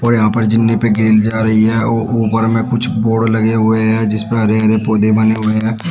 और यहाँ पे जीने पर ग्रिल जा रही है वो ऊपर में कुछ बोर्ड लगे हुए हैं जिसपे हरे हरे पौधे बने हुए हैं।